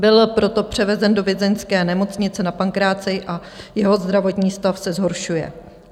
Byl proto převezen do vězeňské nemocnice na Pankráci a jeho zdravotní stav se zhoršuje.